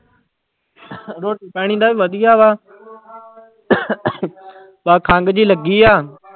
ਰੋਟੀ ਪਾਣੀ ਦਾ ਵਧੀਆ ਵਾ ਬਸ ਖੰਘ ਜਿਹੀ ਲੱਗੀ ਆ।